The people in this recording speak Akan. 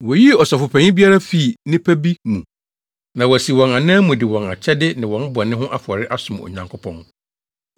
Woyii Ɔsɔfopanyin biara fii nnipa bi mu na wasi wɔn anan mu de wɔn akyɛde ne wɔn bɔne ho afɔre asom Onyankopɔn.